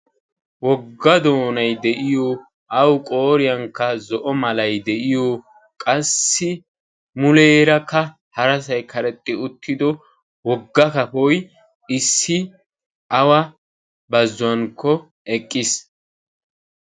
Wogga doonay de"iyo awu qooriyankka zo"o malay de"iyo qassi muleerakka harasay karexxi uttido wogga kafoy issi awa bazzuwankko eqqiis.